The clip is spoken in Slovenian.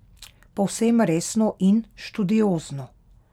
Povsem resno in študiozno.